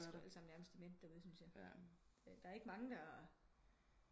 De er squ da næsten alle sammen demente der ude syntes jeg der er ikke mange der